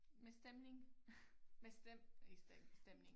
Med stemning med stemme ik stemme stemning